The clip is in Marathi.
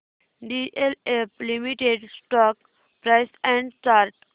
DLF limited stock price and chart